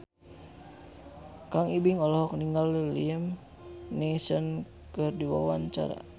Kang Ibing olohok ningali Liam Neeson keur diwawancara